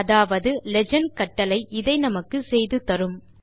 அதாவது லீஜெண்ட் கட்டளை இதை நமக்கு செய்து தரும்